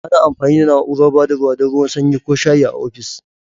Ana amfani da na'urar ba da ruwa don ruwan sanyi ko shayi a ofis.